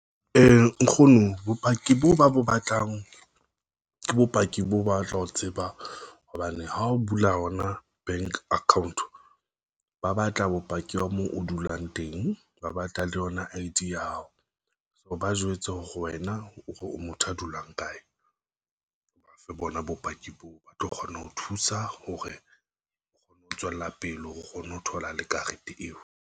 Nkgono bopaki boo ba bo batlang ke bopaki bo batla ho tseba hobane ha o bula ona bank account, ba batla bopaki ba moo o dulang teng, ba batla le le yona I_D ya hao so ba jwetse hore wena o motho a dulang kae, o ba fe bona bopaki boo ba tlo kgona ho thusa hore o kgone ho tswella pele hore o kgone ho thola le karete eo.